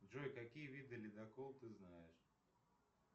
джой какие виды ледокол ты знаешь